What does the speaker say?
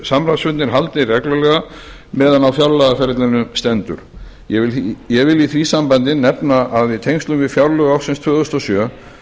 samráðsfundir haldnir reglulega meðan á fjárlagaferlinu stendur ég vil í því sambandi nefna að í tengslum við fjárlög ársins tvö þúsund og sjö